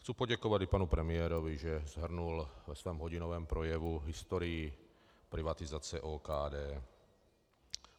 Chci poděkovat i panu premiérovi, že shrnul ve svém hodinovém projevu historii privatizace OKD.